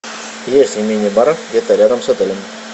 есть ли мини бар где то рядом с отелем